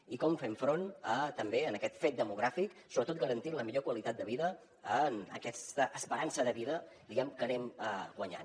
i com fem front a també aquest fet demogràfic sobretot garantint la millor qualitat de vida en aquesta esperança de vida diguem ne que anem guanyant